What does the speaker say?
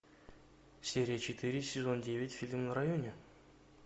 серия четыре сезон девять фильм на районе